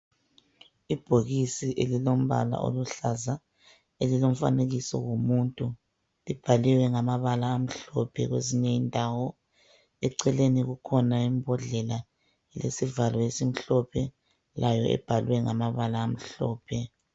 Ibhokisi elilombala oluhlaza elilomfanekiso womuntu libhaliwe ngamabala amhlophe kwezinye indawo. Eceleni kukhona imbodlela elesivalo esimhlophe layo ibhalwe ngamabala amhlophe.